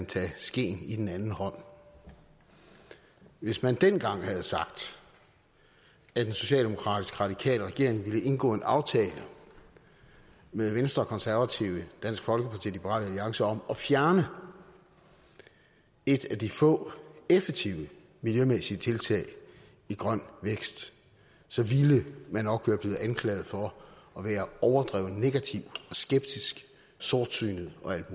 tage skeen i den anden hånd hvis man dengang havde sagt at en socialdemokratisk radikal regering ville indgå en aftale med venstre konservative dansk folkeparti og liberal alliance om at fjerne et af de få effektive miljømæssige tiltag i grøn vækst så ville man nok være blevet anklaget for at være overdreven negativ skeptisk sortsynet og alt